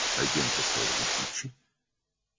Agent onlara açarları verdi,